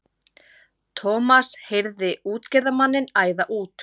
Thomas heyrði útgerðarmanninn æða út.